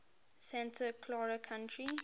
santa clara county